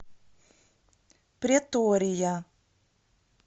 претория